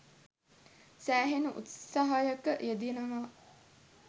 සෑහෙන උත්සහයක යෙදෙනවා.